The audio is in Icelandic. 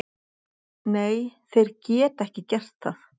Nei, þeir geta ekki gert það.